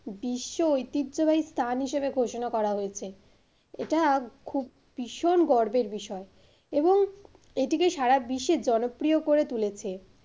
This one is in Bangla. বিশ্ব ঐতিহ্যবাহী স্থান হিসেবে ঘোষণা করা হয়েছে। এটা খুব ভীষণ গর্বের বিষয় এবং এটিকে সারা বিশ্বের জনপ্রিয় করে তুলেছে,